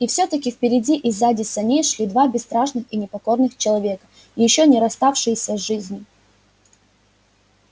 и всё таки впереди и сзади саней шли два бесстрашных и непокорных человека ещё не расставшиеся с жизнью